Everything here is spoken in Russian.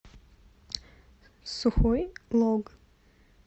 сухой лог